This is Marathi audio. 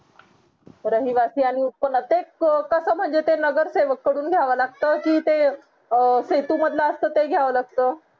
रहिवासी आणि उत्पन्न ते कस महाजन ते नगरसेवक कडून घ्यावा लागत कि ते अं सेतू मधला असत ते घ्यावा लागत